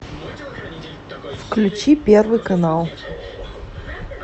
включи первый канал